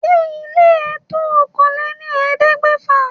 Ṣé ile ẹ to òkàn lẹ́ ní ẹ̀ẹ́dẹ́gbèfà?